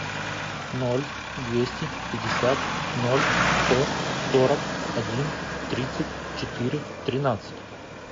ноль двести пятьдесят ноль сто сорок один тридцать четыре тринадцать